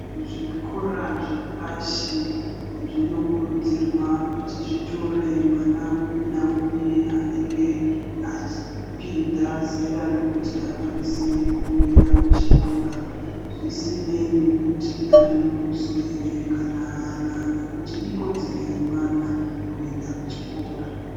Zvikora zvepashi zvinokurudzirwa kuti zvitore mwana upi naupi anenge achipinda zera rekuti akwanise kuenda kuchikora ,zvisinei nekuti ane muduso here kana haana, nekuti ikodzero yemwana kuenda kuchikora.